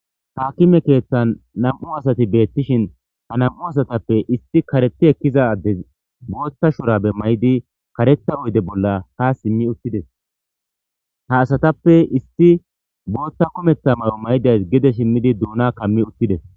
haakime keeththan nam7u asati beettishin ha nam7u asatappe isti kareti ekkizade bootta shorabe may7di kareta oyde bolla ha simmi uttides ha asatappe isti bootta kumeththa mayo may7days gede shimmidi duuna kammi uttides.